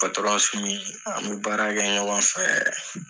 Patɔrɔn Sumi an be baara kɛ ɲɔgɔn fɛ.